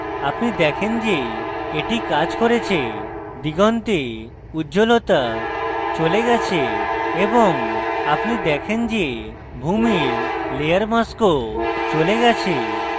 আপনি দেখেন যে the কাজ করেছে দিগন্তে উজ্জ্বলতা চলে গেছে এবং আপনি দেখেন যে ভূমির layer mask চলে গেছে